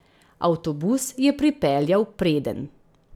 Avtobus je pripeljal predenj.